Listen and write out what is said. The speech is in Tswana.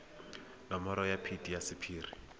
nomoro ya phetiso ya sephiri